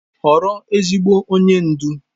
Họrọ ezigbo onye ndu.